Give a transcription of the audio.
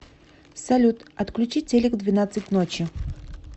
салют отключи телек в двенадцать ночи